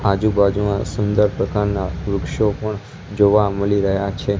આજુબાજુમાં સુંદર પ્રકારના વૃક્ષો પણ જોવા મળી રહ્યા છે.